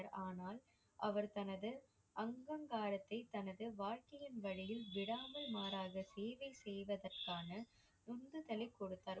ஆனால் அவர் தனது அங்கங்காரத்தை தனது வாழ்க்கையின் வழியில் விடாமல் மாறாகச் சேவை செய்வதற்கான உந்துதலை கொடுத்தார்.